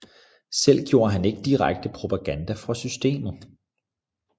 Selv gjorde han ikke direkte propaganda for systemet